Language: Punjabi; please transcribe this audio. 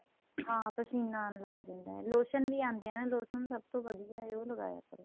ਹਾਂ ਪਸੀਨਾਂ ਆਣ ਲੱਗ ਜਾਂਦਾ ਏ lotion ਵੀ ਆਂਦੇ ਏ lotion ਸਭ ਤੋ ਵਧੀਆ ਉਹ ਲਗਾਇਆ ਕਰੋ